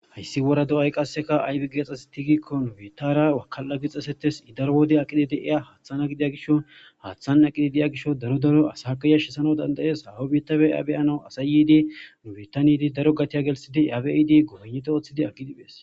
Hayssi wora do'ay qasseka aybi geexxas tigikkon betara wakal'a gixxasetes idaro wode aqidi deiya haaththana gidiya gisho haaththana aqidi deya gisho daro daro asaaqayashi sana dandayees hawo biitabe aabeyana asay yiidinu bitanydi daro gatiya gelsidi aabiidi gohoneto ooththidi aggidiphees.